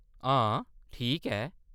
हां, ठीक ऐ।